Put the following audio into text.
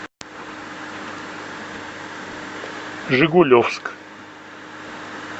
жигулевск